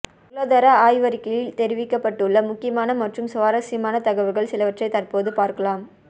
பொருளாதார ஆய்வறிக்கையில் தெரிவிக்கப்பட்டுள்ள முக்கியமான மற்றும் சுவாரஸ்யமான தகவல்கள் சிலவற்றை தற்போது பார்க்கலாம்